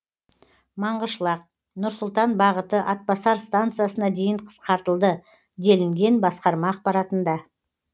маңғышлақ нұр сұлтан бағыты атбасар станциясына дейін қысқартылды делінген басқарма ақпаратында